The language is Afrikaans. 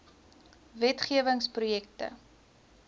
wet gewing projekte